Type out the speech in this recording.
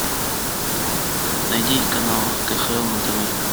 найди канал кхл на тв